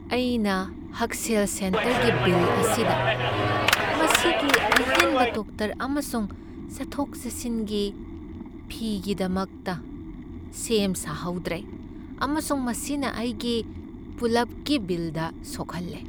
ꯑꯩꯅ ꯍꯛꯁꯦꯜ ꯁꯦꯟꯇꯔꯒꯤ ꯕꯤꯜ ꯑꯁꯤꯗ ꯃꯁꯤꯒꯤ ꯑꯍꯦꯟꯕ ꯗꯣꯛꯇꯔ ꯑꯃꯁꯨꯡ ꯆꯠꯊꯣꯛ ꯆꯠꯁꯤꯟꯒꯤ ꯐꯤꯒꯤꯗꯃꯛꯇ ꯁꯦꯝ ꯁꯥꯍꯧꯗ꯭ꯔꯦ, ꯑꯃꯁꯨꯡ ꯃꯁꯤꯅ ꯑꯩꯒꯤ ꯄꯨꯂꯞꯀꯤ ꯕꯤꯜꯗ ꯁꯣꯛꯍꯜꯂꯦ꯫